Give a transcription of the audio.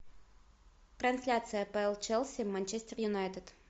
трансляция апл челси манчестер юнайтед